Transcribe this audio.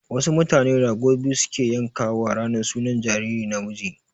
Wasu mutane rago biyu su ke yanka wa ranar sunan jariri namiji